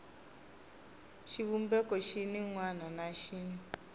xivumbeko xin wana na xin